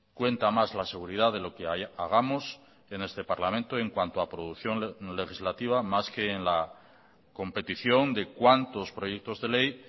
cuenta más la seguridad de lo que hagamos en este parlamento en cuanto a producción legislativa más que en la competición de cuántos proyectos de ley